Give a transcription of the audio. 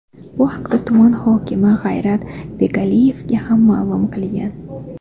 Bu haqda tuman hokimi G‘ayrat Begaliyevga ham ma’lum qilgan.